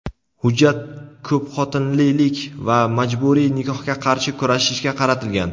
hujjat ko‘pxotinlilik va majburiy nikohga qarshi kurashishga qaratilgan.